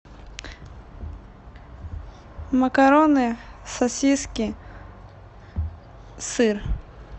макароны сосиски сыр